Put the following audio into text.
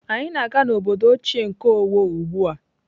Anyị na-aga n'obodo ochie nke Owo ugbu a.